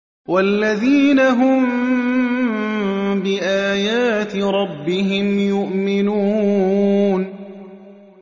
وَالَّذِينَ هُم بِآيَاتِ رَبِّهِمْ يُؤْمِنُونَ